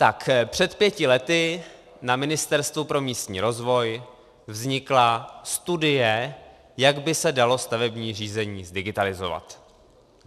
Tak před pěti lety na Ministerstvu pro místní rozvoj vznikla studie, jak by se dalo stavební řízení zdigitalizovat.